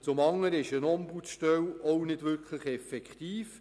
Somit wäre eine Ombudsstelle auch nicht effektiv.